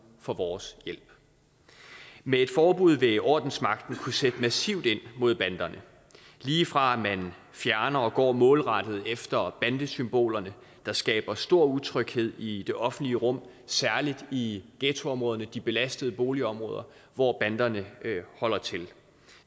for vores hjælp med et forbud vil ordensmagten kunne sætte massivt ind mod banderne lige fra at man fjerner og går målrettet efter bandesymbolerne der skaber stor utryghed i det offentlige rum særlig i ghettoområderne de belastede boligområder hvor banderne holder til